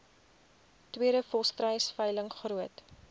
tweede volstruisveiling groot